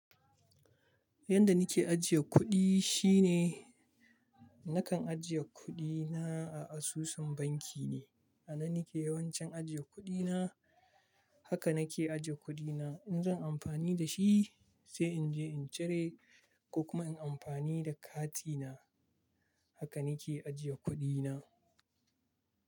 Yanda nake ajiye kuɗi shine nakan ajiye kuɗi na a asusun banki ne. A nan nake yawancin ajiye kuɗi na. Haka nake ajiye kuɗi na. In zan amfani da shi sai in je in cire ko kuma in amfani da kati na. Haka na ke ajiye kuɗi na.